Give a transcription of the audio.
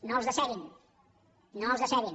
no els decebin no els decebin